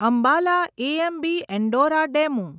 Ambala AMB Andora DEMU